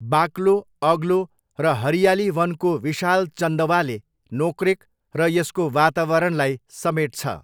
बाक्लो, अग्लो र हरियाली वनको विशाल चन्दवाले नोक्रेक र यसको वातावरणलाई समेट्छ।